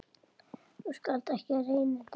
Þú skalt ekki reyna þetta.